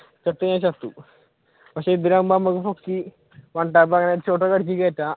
ചത്ത് കഴിഞ്ഞ ചത്തു പക്ഷെ ഇവരാകുമ്പോൾ നമുക്ക് പൊക്കി one tap head shot അടിച്ചൊക്കെ കേറ്റാം